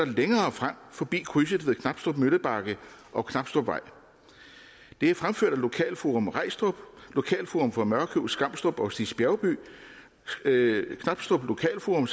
længere frem forbi krydset ved knabstrup møllebakke og knabstrupvej det er fremført af lokalforum regstrup lokalforum for mørkøv skamstrup og stigs bjergby knabstrup lokalforum